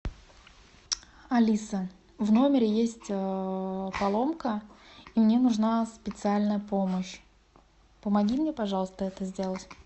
алиса в номере есть поломка мне нужна специальная помощь помоги мне пожалуйста это сделать